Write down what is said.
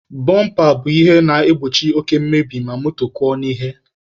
Bọmpa bụ ihe na-egbochi oke mmebi ma moto kụọ n'ihe.